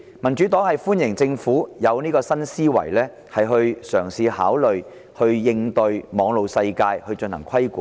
民主黨歡迎政府有新思維，嘗試考慮對網絡世界進行規管。